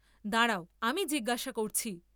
দাঁড়াও আমি জিজ্ঞাসা করছি।